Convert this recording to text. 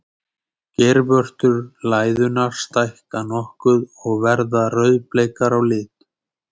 Geirvörtur læðunnar stækka nokkuð og verða rauðbleikar á lit.